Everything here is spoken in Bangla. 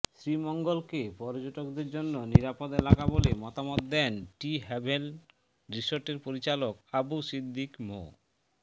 শ্রীমঙ্গলকে পর্যটকদের জন্য নিরাপদ এলাকা বলে মতামত দেন টি হ্যাভেন রিসোর্টের পরিচালক আবু সিদ্দিক মো